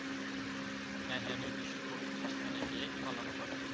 হ্যাঁ হ্যাঁ নির্দিষ্ট পবিত্র স্থানে গিয়ে পালন করে।